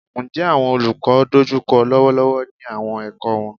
Njẹ awọn olukọ n dojukọ lọwọlọwọ ni awọn ẹkọ wọn?